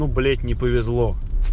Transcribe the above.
блять не повезло